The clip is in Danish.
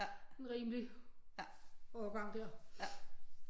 En rimelig årgang der